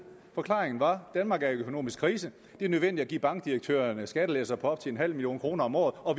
forklaringen var danmark er i økonomisk krise det er nødvendigt at give bankdirektørerne skattelettelser på op til en halv million kroner om året og